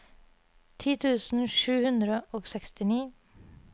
ti tusen sju hundre og sekstini